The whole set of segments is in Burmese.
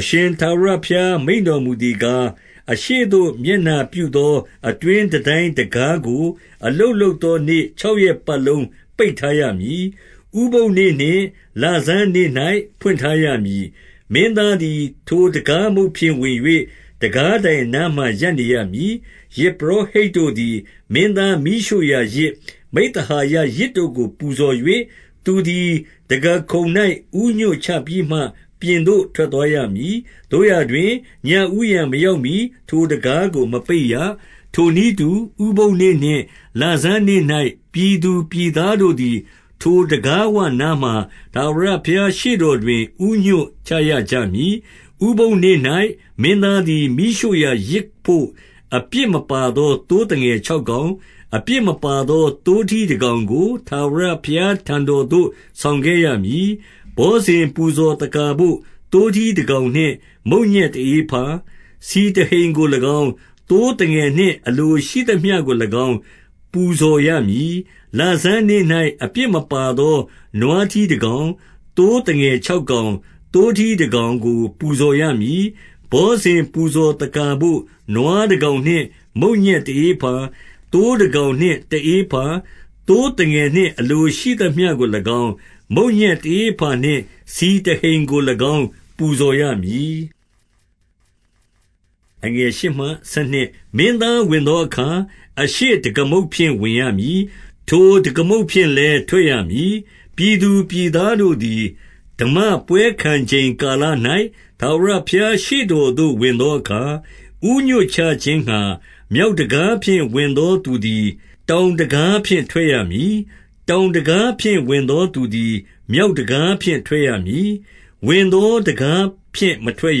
အရှင်ထာဝရဘုရားမိန့်တော် မူသည်ကား၊ အရှေ့သို့ မျက်နှာပြုသော အတွင်းတန်တိုင်း တံခါးကို အလုပ်လုပ်သောနေ့ ခြောက်ရက်ပတ်လုံး ပိတ်ထား ရမည်။ ဥပုသ်နေ့နှင့် လဆန်းနေ့၌ ဖွင့်ထားရမည်။ မင်းသားသည် ထိုတံခါးမုတ်ဖြင့် ဝင်၍ တံခါး တိုင်အနားမှာ ရပ်နေရမည်။ ယဇ်ပုရောဟိတ်တို့သည် မင်းသားမီးရှို့ရာ ယဇ်၊ မိဿဟာယယဇ်တို့ကို ပူဇော်၍၊ သူသည်တံခါးခုံ၌ ဦးညွတ်ချပြီးမှ ပြင်သို့ထွက်သွား ရမည်။ သို့ရာတွင်၊ ညဦးယံမရောက်မှီ ထိုတံခါးကို မပိတ်ရ။ ထိုနည်းတူ၊ ဥပုသ်နေ့နှင့် လဆန်းနေ့၌ ပြည်သူ ပြည်သားတို့သည် ထိုတံခါးဝနားမှာ ထာဝရဘုရား ရှေ့တော်တွင် ဦးညွတ်ချရကြမည်။ ဥပုသ်နေ့၌ မင်းသားသည် မီးရှို့ရာယဇ်ဘို့ အပြစ်မပါသော သိုးသငယ် ခြောက်ကောင်၊ အပြစ်မပါသော သိုးထီးတကောင်ကို ထာဝရဘုရား ထံတော်သို့ ဆောင်ခဲ့ရမည်။ ဘောဇဉ်ပူဇော်သက္ကာဘို့ သိုးထီးတကောင်နှင့် မုန့်ညက်တဧဖေါ၊ ဆီတဟိန်ကို၎င်း၊ သိုးသငယ်နှင့် အလိုရှိသမျှကို၎င်း ပူဇော်ရမည်။ လဆန်းနေ့၌ အပြစ်မပါသော နွားထီး တကောင်၊ သိုးသငယ်ခြောက်ကောင်၊ သိုးထီးတကောင်ကို ပူဇော်ရမည်။ ဘောဇဉ်ပူဇော်သက္ကာဘို့ နွားတကောင်နှင့် မုန့်ညက်တဧဖါ၊ သိုးတကောင်နှင့် တဧဖါ၊ သိုးသငယ်နှင့် အလိုရှိသမျှကို၎င်း၊ မုန့်ညက်တဧဖါနှင့် ဆီတဟိန်ကို ၎င်းပူဇော်ရမည်။ မင်းသားဝင်သောအခါ အရှေ့တံခါးမုတ်ဖြင့် ဝင်ရမည်။ ထိုတံခါးမုတ်ဖြင့်လည်း ထွက်ရမည်။ ပြည်သူပြည်သားတို့သည် ဓမ္မပွဲခံချိန်ကာလ၌၊ ထာဝရဘုရားရှေ့တော်သို့ ဝင်သောအခါ၊ ဦးညွတ်ချခြင်း ငှါ မြောက်တံခါးဖြင့် ဝင်သော သူသည်တောင်တံခါးဖြင့် ထွက်ရမည်။ တောင်တံခါးဖြင့် ဝင်သော သူသည် မြောက် တံခါးဖြင့် ထွက်ရမည်။ ဝင်သောတံခါးဖြင့် မထွက်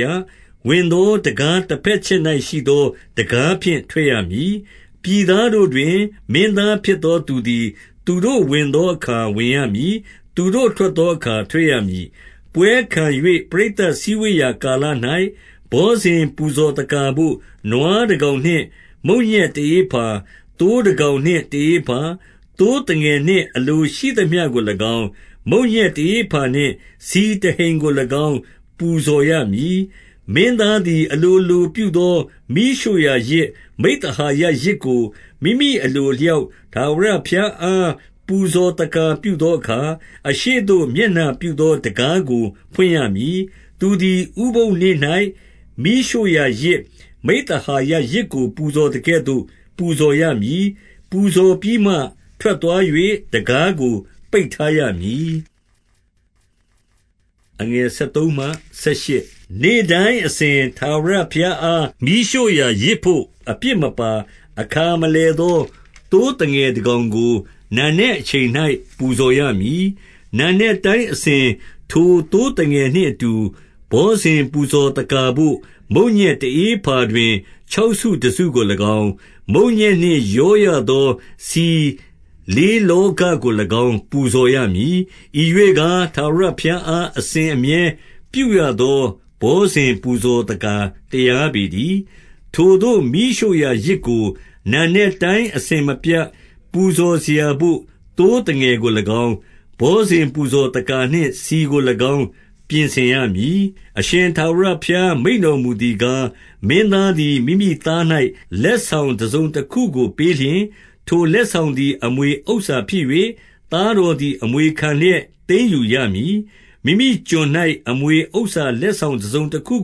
ရ။ ဝင်သော တံခါးတဘက်တချက်၌ရှိသော တံခါးဖြင့် ထွက်ရမည်။ ပြည်သားတို့တွင် မင်းသားဖြစ်သောသူသည် သူတို့ ဝင်သောအခါ ဝင်ရမည်။ သူတို့ထွက်သောအခါ ထွက်ရမည်။ ပွဲခံ၍ ပရိသတ်စည်းဝေးရာ ကာလ၌ ဘောဇဉ် ပူဇော်သက္ကာဘို့၊ နွားတကောင်နှင့် မုန့်ညက်တဧဖါ၊ သိုး တကောင်နှင့် တဧဖါ၊ သိုးသငယ် နှင့် အလိုရှိသမျှကို၎င်း၊ မုန့်ညက် တဧဖါနှင့် ဆီတဟိန်ကို၎င်း ပူဇော်ရမည်။ မင်းသားသည် အလိုလိုပြုသော မီးရှို့ရာယဇ်၊ မိဿဟာယယဇ်ကို မိမိအလိုအလျောက် ထာဝရဘုရား အား ပူဇော်သက္ကာပြုသောအခါ၊ အရှေ့သို့မျက်နှာပြု သော တံခါးကိုဖွင့်ရမည်။ သူသည်ဥပုသ်နေ့၌မီးရှို့ရာ ယဇ်၊ မိဿဟာယယဇ်ကို ပူဇော်သကဲ့သို့ ပူဇော်ရမည်။ ပူဇော်ပြီးမှ ထွက်သွား၍ တံခါးကို ပိတ်ထားရမည်။ နေ့တိုင်းအစဉ်၊ ထာဝရဘုရားအား မီးရှို့ရာယဇ် ဘို့ အပြစ်မပါ၊ အခါမလည်သော သိုးသငယ်တကောင် ကို နံနက်အချိန်၌ ပူဇော်ရမည်။ နံနက်တိုင်းအစဉ်၊ ထိုသိုးသငယ်နှင့်အတူ ဘောဇဉ်ပူဇော်သက္ကာဘို့ မုန့်ညက်တဧဖါတွင် ခြောက်စု တစုကို၎င်း၊ မုန့်ညက်နှင့်ရောရသော ဆီလေးလောဃ ကို၎င်း ပူဇော်ရမည်။ ဤရွှေ့ကား၊ထာဝရဘုရားအား အစဉ် အမြဲပြုရသော ဘောဇဉ်ပူဇော်သက္ကာတရားပေ တည်း။ ထိုသို့မီးရှို့ရာယဇ်ကို နံနက်တိုင်း အစဉ်မပြတ် ပူဇော်စရာဘို့ သိုးသငယ်ကို၎င်း၊ ဘောဇဉ်ပူဇော်သက္ကာ နှင့် ဆီကို၎င်း ပြင်ဆင်ရမည်။ အရှင်ထာဝရဘုရားမိန့်တော်မူသည်ကား၊ မင်းသားသည် မိမိသား၌ လက်ဆောင်တစုံတခုကို ပေးလျှင်၊ ထိုလက်ဆောင်သည် အမွေဥစ္စာဖြစ်၍၊ သားတော်သည် အမွေခံလျက် သိမ်းယူရမည်။ မိမိကျွန်၌ အမွေဥစ္စာလက်ဆောင်တစုံတခု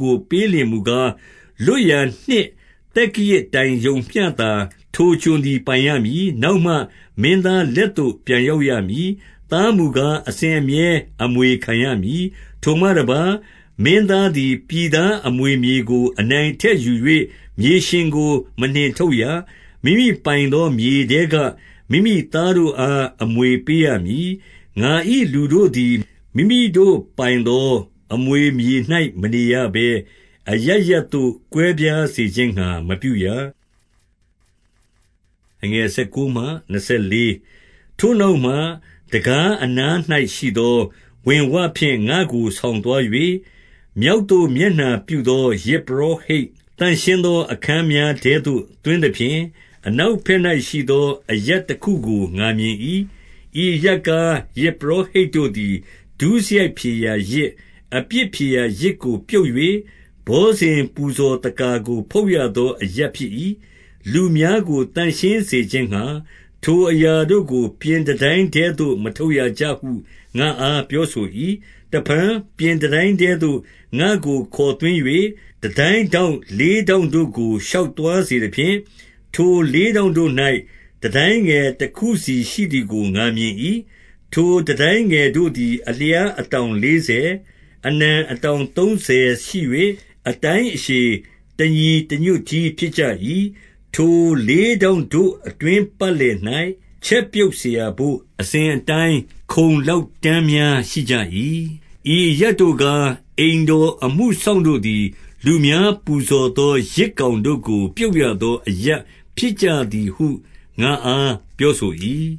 ကို ပေးလျှင်မူကား၊ လွတ်ရာနှစ်သက္ကရာဇ်တိုင်ရုံမျှသာ ထိုကျွန်သည် ပိုင်ရမည်။ နောက်မှ မင်းသားလက်သို့ ပြန်ရောက်ရမည်။ သားမူကား၊ အစဉ်အမြဲ အမွေခံရ မည်။ ထိုမှတပါး၊ မင်းသားသည်ပြည်သားအမွေမြေကို အနိုင်အထက် ယူ၍ မြေရှင်ကိုမနှင်ထုတ်ရ။ မိမိပိုင်သော မြေထဲကမိမိသားတို့အား အမွေပေးရမည်။ ငါ၏လူတို့ သည် မိမိတို့ပိုင်သော အမွေမြေ၌ မနေရဘဲ အရပ်ရပ်သို့ ကွဲပြားစေခြင်းငှါ မပြုရ။ ထိုနောက်မှ တံခါးအနား၌ရှိသော ဝင်ဝဖြင့် ငါ့ကို ဆောင်သွား၍၊ မြောက်သို့မျက်နှာပြုသော ယဇ် ပုရောဟိတ် သန့်ရှင်းသော အခန်းများ ထဲသို့ သွင်းသဖြင့်၊ အနောက်ဘက်၌ရှိသော အရပ်တခုကို ငါမြင်၏။ ဤအရပ်ကား၊ ယဇ်ပုရောဟိတ်တို့သည် ဒုစရိုက် ဖြေရာယဇ်၊ အပြစ်ဖြေရာယဇ်ကိုပြုတ်၍၊ ဘော်ဇဉ်ပူဇော် သက္ကာကို ဖုတ်ရသော အရပ်ဖြစ်၏။ လူများကို သန့်ရှင်း စေခြင်းငှါ၊ ထိုအရာတို့ကို ပြင်တန်တိုင်းထဲသို့ မထုတ် ရကြဟု ငါ့အားပြောဆို၏။ တဖန်ပြင်တန်တိုင်းထဲသို့ ငါ့ကိုခေါ်သွင်း၍ တန်တိုင်းထောင့် လေးထောင့်တို့ကို ရှောက်သွားစေသဖြင့်၊ ထိုလေးထောင့်တို့၌ တန်တိုင်းငယ် တခုစီရှိသည်ကို ငါမြင်၏။ ထိုတန်တိုင်းငယ်တို့သည် အလျားအတောင် လေးဆယ်၊ အနံအတောင်သုံးဆယ်ရှိ၍၊ အတိုင်းအရှည် တညီတညွတ်တည်း ဖြစ်ကြ၏။ ထိုလေးထောင့်တို့အတွင်း ပတ်လည်၌ ချက် ပြုတ်စရာဘို့ အစဉ်အတိုင်း ခုံလောက်တန်းများ ရှိကြ၏။ ဤအရပ်တို့ကား အိမ်တော်အမှုစောင့်တို့သည် လူများပူဇော်သော ယဇ်ကောင်တို့ကို ပြုတ်ရသော အရပ် ဖြစ်ကြသည်ဟု ငါ့အား ပြောဆို၏။